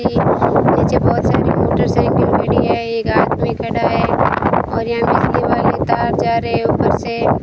एक नीचे बहोत सारी मोटर साइकिल खड़ा है एक आदमी खड़ा और यहां बिजली वाले तार जा रहे ऊपर से --